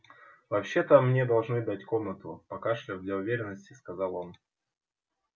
вообще то мне должны дать комнату покашляв для уверенности сказал он